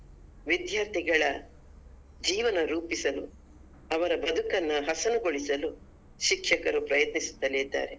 ವಿದ್ಯಾರ್ಥಿಗಳ ಜೀವನ ರೂಪಿಸಲು ಅವರ ಬದುಕನ್ನ ಹಸನಗೊಳಿಸಲು ಶಿಕ್ಷಕರು ಪ್ರಯತ್ನಿಸುತ್ತಲೇ ಇದ್ದಾರೆ.